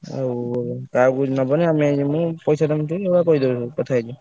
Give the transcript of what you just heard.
ଆଉ କାହାକୁ ନବନି ଆମେ ଯିବୁ ପଇସାଟା ଏଇଭଳିଆ କହିଦବ କଥା ହେଇଯିବ।